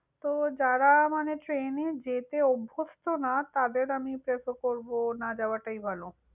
তো যারা মানে train যেতে অভ্যস্ত না তাদের আমি prefer করব, না যাওয়াটাই ভালও।